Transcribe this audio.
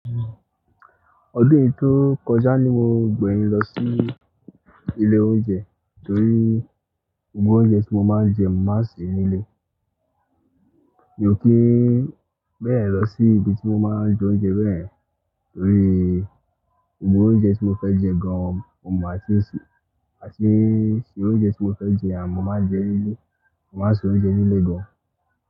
Ọdún tó kọjá ni mo gbẹ̀yìn lọ sí ilé oúnjẹ torí gbogbo oúnjẹ tí mo máa ń jẹ mo máa se nílé. Mi ò kí bẹ́ yẹ̀n lọ sí ibi tí mo máa ń jẹ oúnjẹ bẹ́ẹ̀ torí gbogbo oúnjẹ tí mo fẹ́ jẹ gan-an mo mọ́ àti ṣe àti ṣe oúnjẹ tí mo fẹ́ jẹ àmo máa jẹ nílé, a máa sì ń jẹ nílé gan.